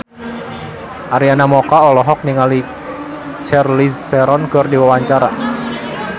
Arina Mocca olohok ningali Charlize Theron keur diwawancara